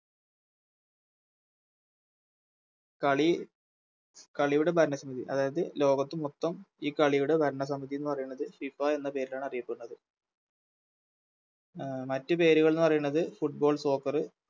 കളി കളിയുടെ ഭരണസ്‌ അതായത് ലോകത്ത് മൊത്തം ഈ കളിയുടെ ഭരണസമിതി എന്ന് പറയുന്നത് FIFA എന്ന പേരിലാണറിയപ്പെടുന്നത് അഹ് മറ്റു പേരുകളെന്ന് പറയുന്നത് Football soccer